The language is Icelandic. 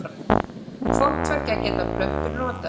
Hvort tveggja geta plöntur notað.